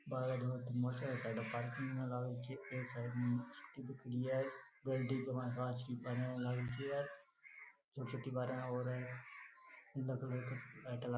बाहर motorcycle side में parking में लगा रखी है एक साइड में स्कूटी खड़ी है कांच की बारियाँ र लाग रखी है छोटी बरियाँ और है।